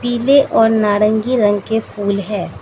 पीले और नारंगी रंग के फूल है।